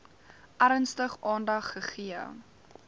ernstig aandag gegee